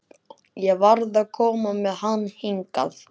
Ég varð að koma með hann hingað.